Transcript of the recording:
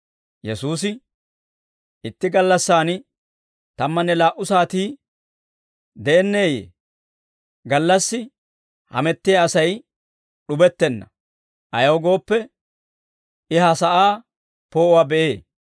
Yesuusi, «Itti gallassan tammanne laa"u saatii de'enneeyye? Gallassi hamettiyaa Asay d'ubettenna; ayaw gooppe, I ha sa'aa poo'uwaa be'ee.